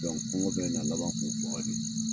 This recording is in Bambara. kungɔ bɛ na laban k'u faga le.